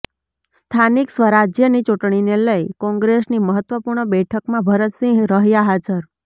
સ્થાનિક સ્વરાજ્યની ચૂંટણીને લઇ કોંગ્રેસની મહત્વપૂર્ણ બેઠકમાં ભરતસિંહ રહ્યા હાજર